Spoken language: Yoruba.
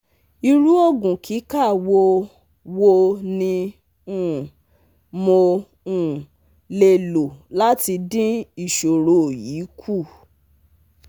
Iru ogun kika wo wo ni um mo um le lo lati din isoro yi ku?